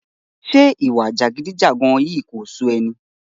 Ṣé ìwà jàgídíjàga yìí kò sú ẹ ni?